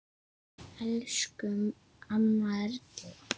Elsku amma Erla.